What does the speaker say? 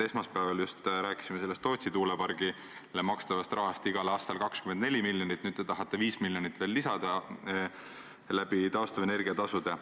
Esmaspäeval just rääkisime sellest Tootsi tuulepargile makstavast rahast, igal aastal 24 miljonit, nüüd te tahate 5 miljonit veel lisada taastuvenergia tasudega.